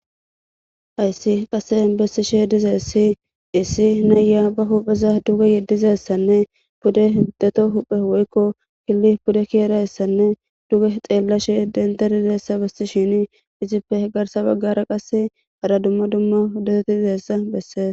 ayssi qassen bessishe dizeessi issi nayya ba hupheza duge yeddizessanne bude hiddeto huphe woykko killi budde ki erayssanne duge xeellashe dendarideessa besi shini izippe he garsa baggara qase hara dumma dumma huddeteti dizessa bessees